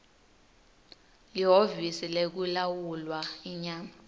lihhovisi lekulawulwa inyama